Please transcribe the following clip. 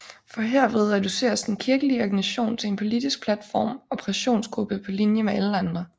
For herved reduceres den kirkelige organisation til en politisk platform og pressionsgruppe på linje med alle andre